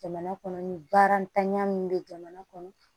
Jamana kɔnɔ ni baara ntanya min bɛ jamana kɔnɔ